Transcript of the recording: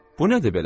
Bu nədir belə?